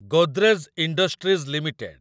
Godrej industries limited